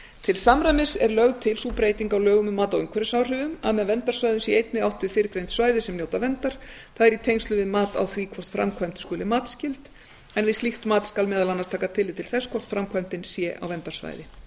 til samræmis er lögð til sú breyting á lögum um mat á umhverfisáhrifum að með verndarsvæði sé einnig átt við fyrrgreind svæði sem njóta verndar það er í tengslum við mat á því hvort framkvæmd skuli matsskyld en við slíkt skal meðal annars taka tillit til þess hvort framkvæmdin sé á verndarsvæði